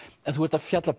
en þú ert að fjalla